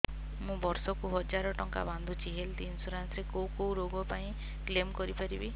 ମୁଁ ବର୍ଷ କୁ ହଜାର ଟଙ୍କା ବାନ୍ଧୁଛି ହେଲ୍ଥ ଇନ୍ସୁରାନ୍ସ ରେ କୋଉ କୋଉ ରୋଗ ପାଇଁ କ୍ଳେମ କରିପାରିବି